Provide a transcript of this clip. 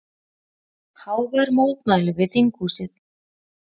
Hávær mótmæli við þinghúsið